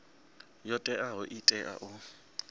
yo teaho i tea u